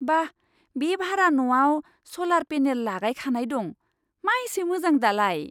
बा! बे भारा न'आव स'लार पेनेल लागायखानाय दं! मा एसे मोजां दालाय!